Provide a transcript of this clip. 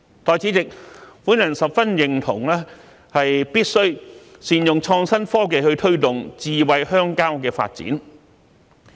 代理主席，我十分認同必須善用創新科技去推動"智慧鄉郊"的發展。